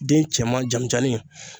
Den cɛman jamijanni